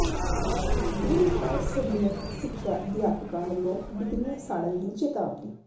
ਬੇਰੁਜ਼ਗਾਰ ਸਰੀਰਕ ਸਿੱਖਿਆ ਅਧਿਆਪਕਾਂ ਵੱਲੋਂ ਡਿਗਰੀਆਂ ਸਾੜਨ ਦੀ ਚੇਤਾਵਨੀ